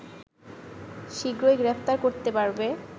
শীঘ্রই গ্রেফতার করতে পারবে